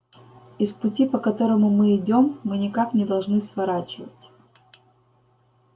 и с пути по которому мы идём мы никак не должны сворачивать